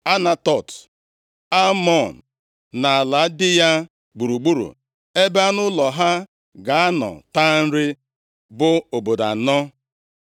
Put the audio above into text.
Anatot, Almon na ala dị ya gburugburu ebe anụ ụlọ ha ga-anọ taa nri, bụ obodo anọ.